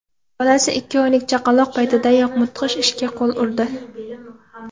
Bolasi ikki oylik chaqaloq paytidayoq mudhish ishga qo‘l urdi.